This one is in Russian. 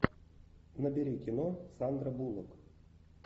набери кино сандра буллок